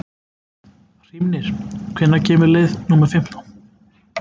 Hrímnir, hvenær kemur leið númer fimmtán?